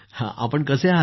कसे आहात आपण